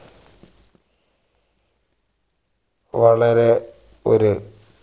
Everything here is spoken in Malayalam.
വളരെ ഒരു